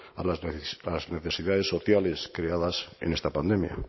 a las necesidades sociales creadas en esta pandemia